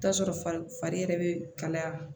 I bi t'a sɔrɔ fari yɛrɛ be kalaya